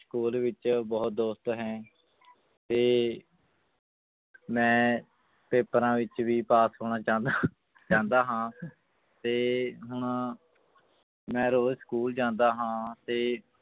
School ਵਿੱਚ ਬਹੁਤ ਦੋਸਤ ਹੈ ਤੇ ਮੈਂ ਪੇਪਰਾਂ ਵਿੱਚ ਵੀ ਪਾਸ ਹੋਣਾ ਚਾਹੁੰਦਾ ਚਾਹੁੰਦਾ ਹਾਂ ਤੇ ਹੁਣ ਮੈਂ ਰੋਜ਼ school ਜਾਂਦਾ ਹਾਂ ਤੇ